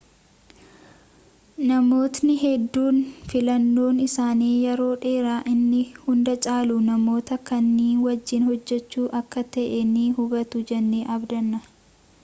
namootni hedduun filannoon isaanii yeroo dheeraa inni hunda caalu namoota kaanii wajjin hojjechuu akka ta'e ni hubatu jennee abdanna